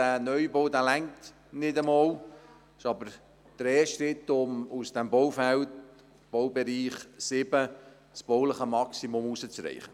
Dieser Neubau reicht nicht einmal aus, doch es ist ein erster Schritt, um aus diesem Baufeld 07 das bauliche Maximum herauszuholen.